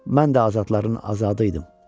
Mən də azadların azadıydım.